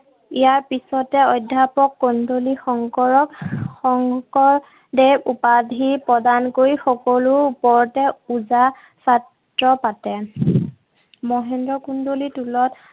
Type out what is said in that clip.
ইয়াৰ পিছতে অধ্যাপক কন্দলি শংকৰক শংকৰদেৱ উপাধি প্ৰদান কৰি সকলোৰ ওপৰতে ওজা ছাত্ৰ পাতে। মহেন্দ্ৰ কন্দলিৰ টোলত